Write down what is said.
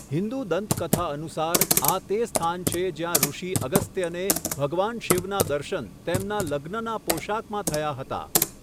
હિંદુ દંતકથા અનુસાર, આ તે સ્થાન છે જ્યાં ઋષિ અગસ્ત્યને ભગવાન શિવનાં દર્શન તેમના લગ્નનાં પોશાકમાં થયા હતા.